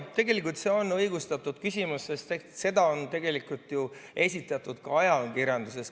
Tegelikult see on õigustatud küsimus, sest seda on ju esitatud ka ajakirjanduses.